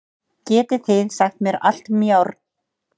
Getið þið sagt mér allt um járn?